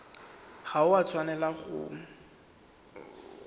ga o a tshwanela wa